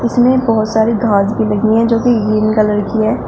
इसमें बहुत सारी घास भी लगी है जो कि ग्रीन कलर की है।